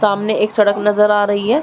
सामने एक सड़क नज़र आ रही है।